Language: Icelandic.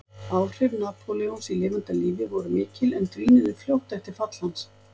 Áhrif Napóleons í lifanda lífi voru mikil en dvínuðu fljótt eftir fall hans.